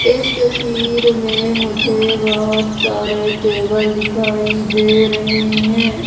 इस तस्वीर में मुझे बहोत सारे टेबल दिखाई दे रहे हैं।